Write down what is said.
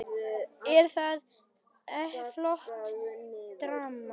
Er það ekki flott drama?